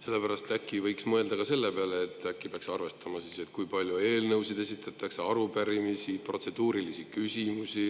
Sellepärast võiks mõelda ka selle peale, et äkki peaks arvestama, kui palju eelnõusid esitatakse, arupärimisi, protseduurilisi küsimusi,